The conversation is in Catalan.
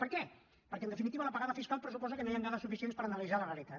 per què perquè en definitiva l’apagada fiscal pressuposa que no hi han dades suficients per analitzar la realitat